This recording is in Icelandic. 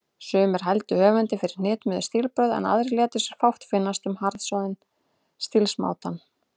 Sumir hældu höfundi fyrir hnitmiðuð stílbrögð, en aðrir létu sér fátt finnast um harðsoðinn stílsmátann.